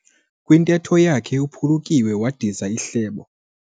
Kwintetho yakhe uphulukiwe wadiza ihlebo.